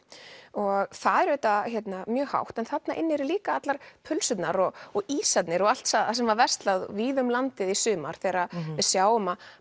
og það er auðvitað mjög hátt en þarna inni eru líka allar pylsurnar og og ísarnir og allt sem er verslað víða um landið í sumar þegar við sjáum að